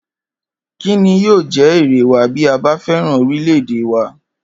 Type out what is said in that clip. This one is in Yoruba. Kí ni yóò jé̩ èrè wa bí a bá fé̩ràn orílè̩-èdè wa?